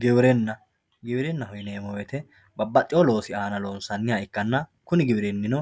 Giwirinna, giwirinaho yineemo woyite babaxiwoo loosi aana loonsanniha ikkanna, kuni giwitinninno